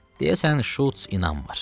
Deyəsən Şults inanmır.